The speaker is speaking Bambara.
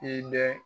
I bɛ